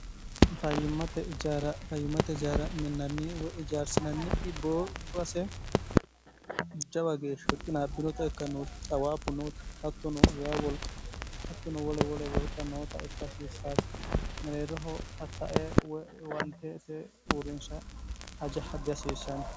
fayimmate ijaara minnanni woy ijaarsinanni iboobbase ujawa geeshshah qinaabbinota ikkannooi xawaabbu nooti haktono way wolq hattono wole wole wolqa noota ifikihasiissaasi meleerroho tattae woywanteete uurrinsha ajaha dihasiishshanni